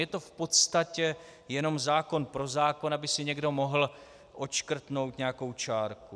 Je to v podstatě jenom zákon pro zákon, aby si někdo mohl odškrtnout nějakou čárku.